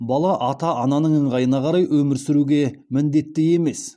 бала ата ананың ыңғайына қарай өмір сүруге міндетті емес